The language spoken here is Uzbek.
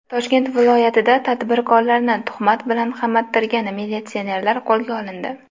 Toshkent viloyatida tadbirkorlarni tuhmat bilan qamattirgan militsionerlar qo‘lga olindi.